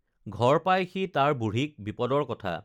ঘৰ পাই সি তাৰ বুঢ়ীক বিপদৰ কথা